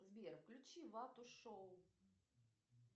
сбер включи вату шоу